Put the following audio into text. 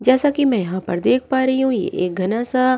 जैसा कि मैं यहां पर देख पा रही हूं ये एक घना सा --